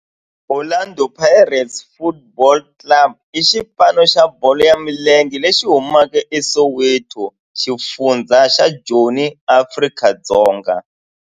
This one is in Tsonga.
Orlando Pirates Football Club i xipano xa bolo ya milenge lexi humaka eSoweto, xifundzha xa Joni, Afrika-Dzonga.